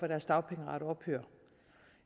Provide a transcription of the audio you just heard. deres dagpengeret ophørte